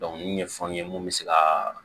nin ɲɛfɔ n ye mun bɛ se ka